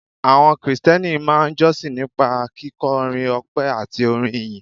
Àwọn Krìsìtẹ́nì máa ń jọ́sìn nípa kíkọrin ọpẹ́ àti orin ìyìn